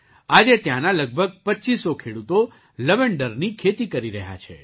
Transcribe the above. આજે ત્યાંના લગભગ ૨૫ સો ખેડૂતો અઢી હજાર ખેડૂતો લવેન્ડરની ખેતી કરી રહ્યા છે